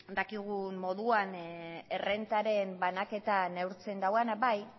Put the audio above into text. dakigun moduan errentaren banaketa neurtzen duena bai